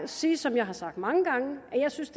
sige som jeg har sagt mange gange at jeg synes